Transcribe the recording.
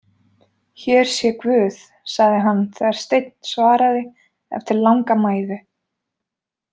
Hér sé guð, sagði hann þegar Steinn svaraði eftir langa mæðu.